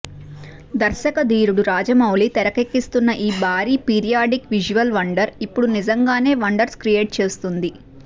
దర్శక ధీరుడు రాజమౌళి తెరకెక్కిస్తున్న ఈ భారీ పీరియాడిక్ విజువల్ వండర్ ఇప్పుడు నిజంగానే వండర్స్ క్రియేట్ చేస్తుంది